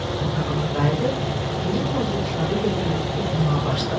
otağına qayıdıb, iri tozlu kitabı götürüb oxumağa başladı.